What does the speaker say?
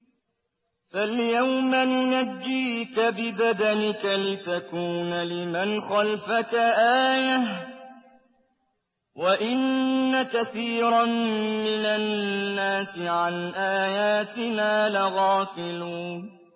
فَالْيَوْمَ نُنَجِّيكَ بِبَدَنِكَ لِتَكُونَ لِمَنْ خَلْفَكَ آيَةً ۚ وَإِنَّ كَثِيرًا مِّنَ النَّاسِ عَنْ آيَاتِنَا لَغَافِلُونَ